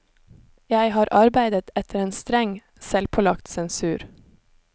Jeg har arbeidet etter en streng, selvpålagt sensur.